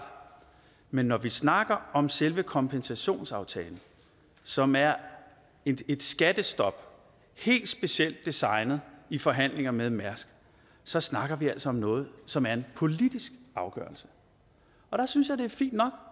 men når vi snakker om selve kompensationsaftalen som er et et skattestop helt specielt designet i forhandlinger med mærsk så snakker vi altså om noget som er en politisk afgørelse og der synes jeg det er fint nok